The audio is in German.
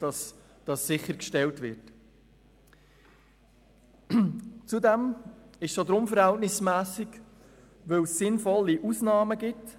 Zudem ist das Gesetz auch deshalb verhältnismässig, weil es sinnvolle Ausnahmen erlaubt.